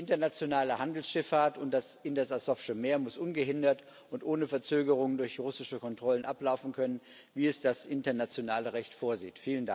Die internationale Handelsschifffahrt in das Asowsche Meer muss ungehindert und ohne Verzögerung durch russische Kontrollen ablaufen können, wie es das internationale Recht vorsieht.